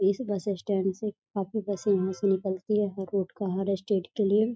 इस bus stand से काफी बसे यहां से निकलती है हर रूट का हर स्टेट के लिए |